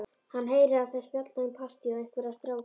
Hann heyrir að þær spjalla um partí og einhverja stráka.